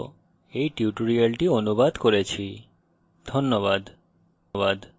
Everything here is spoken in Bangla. আমি কৌশিক দত্ত এই টিউটোরিয়ালটি অনুবাদ করেছি অংশগ্রহনের জন্য ধন্যবাদ